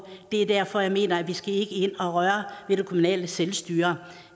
det er derfor jeg mener at vi ikke skal ind og røre ved det kommunale selvstyre